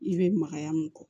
I bɛ magaya mun kɔ